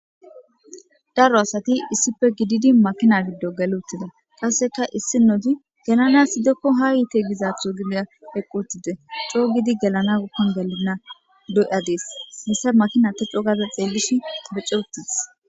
Daro asati issife gididi makina giddo geluttida qasseka issi nodi gelana sidekko ha yiite gizaatho gibiya eqqootide coo gidi gelana gukkon gelinna doyadees hessa makina te coogaze xeellish beccootis.